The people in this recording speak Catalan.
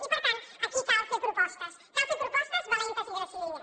i per tant aquí cal fer propostes cal fer propostes valentes i decidides